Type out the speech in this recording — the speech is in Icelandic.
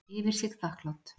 Yfir sig þakklát.